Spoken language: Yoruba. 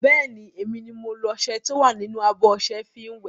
Bẹ́ẹ̀ni, emi ni mo lo ọṣẹ tí ó wà nínú abọ́ ọṣẹ fi wẹ̀.